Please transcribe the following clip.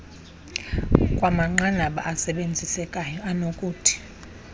lwamanqanaba asebenzisekayo anokuthi